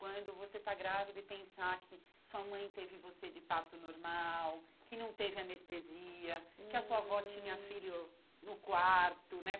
Quando você está grávida e pensar que sua mãe teve você de parto normal, que não teve anestesia, hum que a sua avó tinha filho no quarto, né?